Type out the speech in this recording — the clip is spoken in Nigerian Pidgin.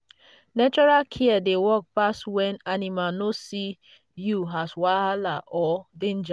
natural care dey work pass when animals no see you as wahala or danger.